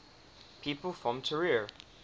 people from trier